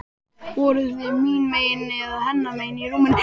Voruð þið mín megin eða hennar megin í rúminu?